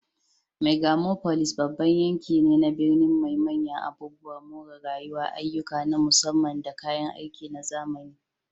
Megalopolis babban yanki ne na birni mai manyan abubuwan more rayuwa, ayyuka na musamman, da kayan aiki na zamani.